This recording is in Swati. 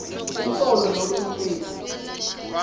umsolwa nome ummeli